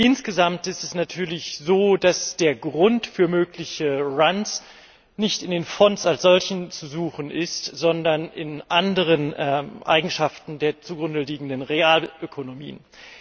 Insgesamt ist es natürlich so, dass der Grund für mögliche Runs nicht in den Fonds als solchen zu suchen ist, sondern in anderen Eigenschaften der zugrundeliegenden Realökonomien.